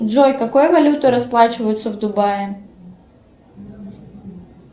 джой какой валютой расплачиваются в дубае